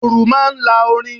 Dùrù máa ń lá orin.